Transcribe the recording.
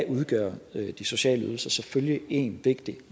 udgør de sociale ydelser selvfølgelig en